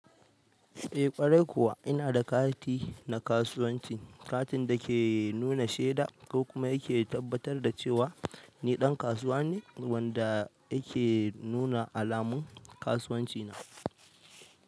Eh ƙwarai kuwa ina da kati na kasuwanci, katin da ke nuna shaida kuma yake tabbatar da cewa ni ɗan kasuwa ne wanda yake nuna alamun kasuwanci na.